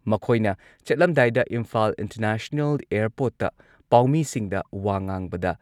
ꯃꯈꯣꯏꯅ ꯆꯠꯂꯝꯗꯥꯏꯗ ꯏꯝꯐꯥꯜ ꯏꯟꯇꯔꯅꯦꯁꯅꯦꯜ ꯑꯦꯌꯔꯄꯣꯔꯠꯇ ꯄꯥꯎꯃꯤꯁꯤꯡꯗ ꯋꯥ ꯉꯥꯡꯕꯗ